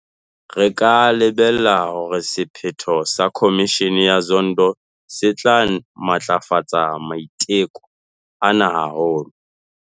Re ka lebella hore sephetho sa Khomishene ya Zondo se tla matlafatsa maiteko ana haholo.